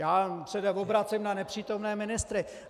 Já se neobracím na nepřítomné ministry.